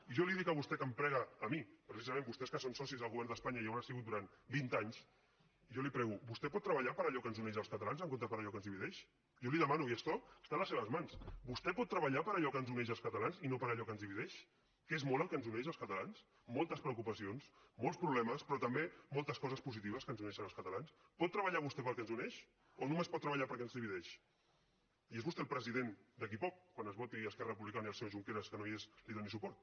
jo li dic a vostè que em prega a mi precisament vostès que són socis del govern d’espanya i ho hauran sigut durant vint anys jo li prego vostè pot treballar per allò que ens uneix als catalans en comptes de per allò que ens divideix jo li demano y esto treballar per allò que ens uneix als catalans i no per allò que ens divideix que és molt el que ens uneix als catalans moltes preocupacions molts problemes però també moltes coses positives que ens uneixen als catalans pot treballar vostè per al que ens uneix o només pot treballar per allò que ens divideix i és vostè el president d’aquí poc quan es voti i esquerra republicana i el senyor junqueras que no hi és li doni suport